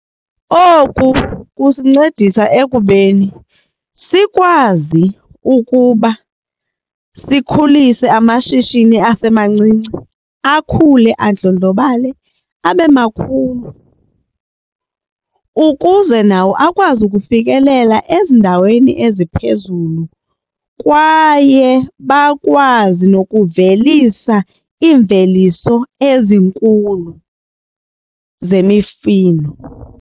Oku kusincedisa ekubeni sikwazi ukuba sikhulise amashishini asemancinci akhule andlondlobale abe makhulu ukuze nawo akwazi ukufikelela ezindaweni eziphezulu kwaye bakwazi nokuvelisa imveliso ezinkulu zemifino.